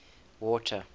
water